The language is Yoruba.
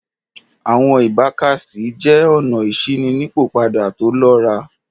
Awọn ibàkàsíẹ̀ jẹ́ ọ̀nà ìṣinípọpada tó lọ́rà